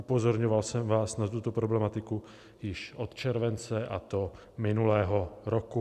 Upozorňoval jsem vás na tuto problematiku již od července, a to minulého roku.